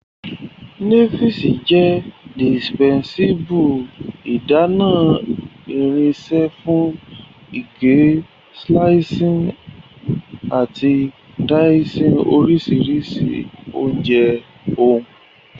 nives jẹ indispensable idana irinṣẹ fun ige, slicing, ati dicing orisirisi ounje ohun.